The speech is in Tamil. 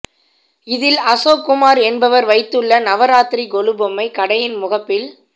இதில் அசோக்குமார் என்பவர் வைத்துள்ள நவராத்திரி கொலு பொம்மை கடையின் முகப்பில்